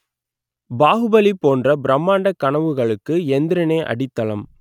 பாகுபலி போன்ற பிரமாண்ட கனவுகளுக்கு எந்திரனே அடித்தளம்